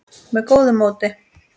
með góðu móti.